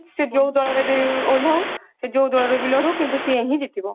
ସେ ଯୋଉ ଦଳରେ ବି ଓଲ୍ଲାଉ ସେ ଯୋଉ ଦଳରୁ ବି ଲଢୁ କିନ୍ତୁ ସିଏ ହିଁ ଜିତିବ